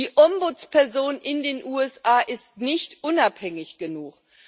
Die Ombudsperson in den USA ist nicht unabhängig genug.